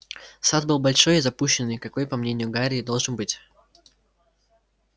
сад был большой и запущенный какой по мнению гарри и должен быть